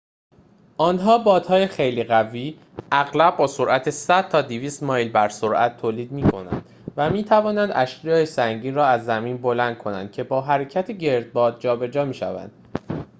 آنها بادهای خیلی قوی اغلب با سرعت 100 تا 200 مایل بر ساعت تولید می‌کنند و می‌توانند اشیاء سنگین را از زمین بلند کنند که با حرکت گردباد جابجا می‌شوند